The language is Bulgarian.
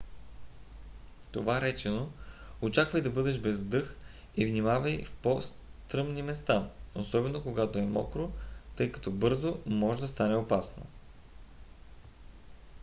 това речено очаквай да бъдеш без дъх и внимавай в по-стръмни места особено когато е мокро тъй като бързо може да стане опасно